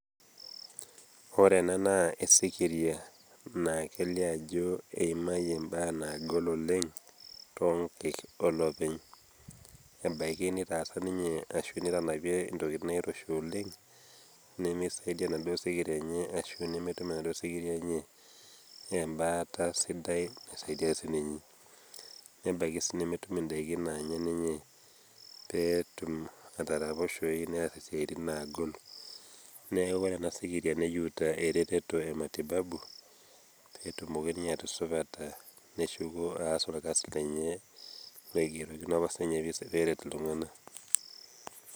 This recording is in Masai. ore ena naa esikiria, naa kelio ajo eimayie mbaa naagol oleng too nkaik oolopeny. ebaiki netanapie intokitin naairoshi oleng. nemesaidia enaduoo sikiria enye ashu nemeidim enaduoo sikiria enye ebaata sidai naisadia sii ninye, nebaiki sii nemetum idaikin naanya ninye pee etum, ataraposhoyu nees isiitin naagol. neeku ore ena sikiria, neyieuta eretoto ematibabu, pee etumoki ninye atusupata neshuko aas orkasi lenye. loigerokino apa sii ninye pee eret iltungana.